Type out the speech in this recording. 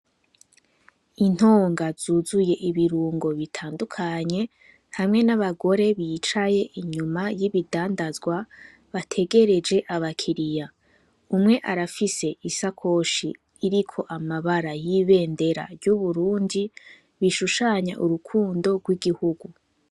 Intonga z'uzuye ibirungo bitandukanye hamwe n'abagore bicaye inyuma y'ibidandazwa bategereje abakiriya ,umwe arafise isakoshi iriko amabara y'ibendera ry'uburundi rishushanya urukundo rw'igihugu.